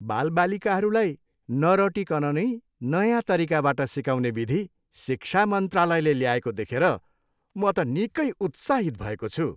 बालबालिकाहरूलाई नरटिकन नै नयाँ तरिकाबाट सिकाउने विधि शिक्षा मन्त्रालयले ल्याएको देखेर म त निकै उत्साहित भएको छु।